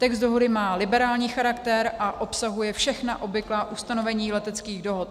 Text dohody má liberální charakter a obsahuje všechna obvyklá ustanovení leteckých dohod.